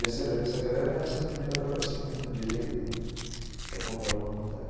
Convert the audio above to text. Descendo aqui essa grana é essa primeira travessinha à direita, né, que é contramão até.